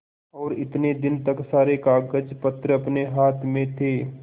और इतने दिन तक सारे कागजपत्र अपने हाथ में थे